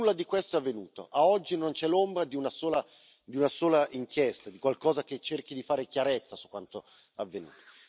Nulla di questo è avvenuto, ad oggi non c'è l'ombra di una sola inchiesta, di qualcosa che cerchi di fare chiarezza su quanto avvenuto.